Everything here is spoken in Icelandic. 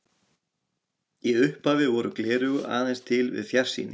Í upphafi voru gleraugu aðeins til við fjarsýni.